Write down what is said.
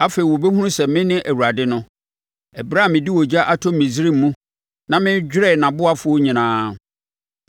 Afei wɔbɛhunu sɛ mene Awurade no, ɛberɛ a mede ogya ato Misraim mu na madwerɛ nʼaboafoɔ nyinaa.